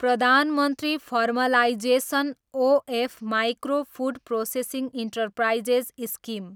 Pradhan Mantri formalisation of micro food processing enterprises scheme